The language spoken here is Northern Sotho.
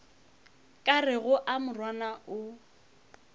ka rego a morwana o